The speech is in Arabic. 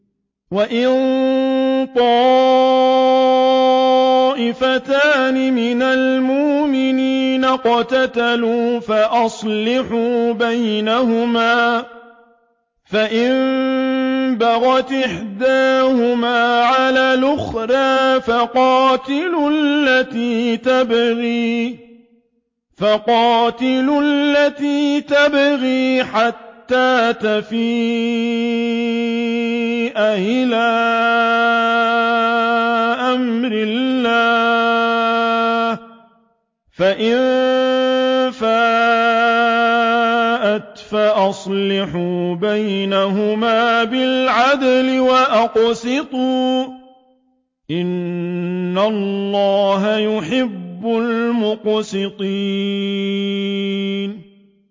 وَإِن طَائِفَتَانِ مِنَ الْمُؤْمِنِينَ اقْتَتَلُوا فَأَصْلِحُوا بَيْنَهُمَا ۖ فَإِن بَغَتْ إِحْدَاهُمَا عَلَى الْأُخْرَىٰ فَقَاتِلُوا الَّتِي تَبْغِي حَتَّىٰ تَفِيءَ إِلَىٰ أَمْرِ اللَّهِ ۚ فَإِن فَاءَتْ فَأَصْلِحُوا بَيْنَهُمَا بِالْعَدْلِ وَأَقْسِطُوا ۖ إِنَّ اللَّهَ يُحِبُّ الْمُقْسِطِينَ